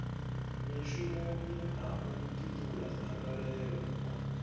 mishumoni na u ṱuṱula dzangalelo